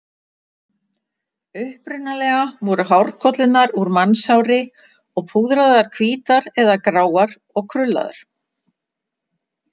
Upprunalega voru hárkollurnar úr mannshári og púðraðar hvítar eða gráar og krullaðar.